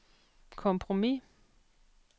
kompromis